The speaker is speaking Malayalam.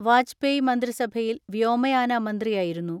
വാജ്പേയ് മന്ത്രിസഭയിൽ വ്യോമയാന മന്ത്രിയായിരുന്നു.